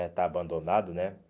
é está abandonado, né?